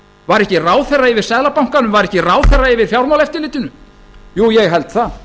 var ekki ráðherra yfir seðlabankanum var ekki ráðherra yfir fjármálaeftirlitinu jú ég held það